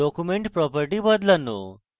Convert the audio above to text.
document properties বদলানো